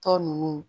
Tɔ ninnu